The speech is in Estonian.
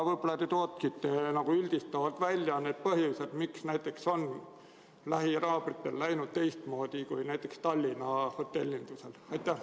Võib-olla te tooksite üldistavalt välja need põhjused, miks näiteks lähinaabritel on läinud teistmoodi kui Tallinna hotellindusel?